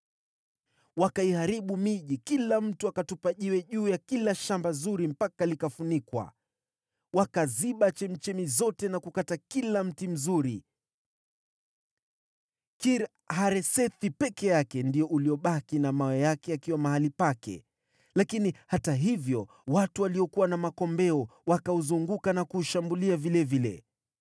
Wakaiharibu miji, kila mtu akatupa jiwe juu ya kila shamba zuri mpaka likafunikwa. Wakaziba chemchemi zote na kukata kila mti mzuri. Kir-Haresethi peke yake ndio uliobaki na mawe yake yakiwa mahali pake. Lakini hata hivyo watu waliokuwa na makombeo wakauzunguka na kuushambulia vilevile.